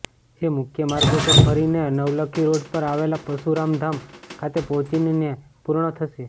જે મુખ્યમાર્ગો પર ફરીને નવલખી રોડ પર આવેલા પરશુરામ ધામ ખાતે પહોંચીને પૂર્ણ થશે